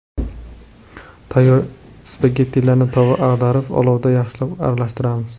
Tayyor spagettilarni tovaga ag‘darib, olovda yaxshilab aralashtiramiz.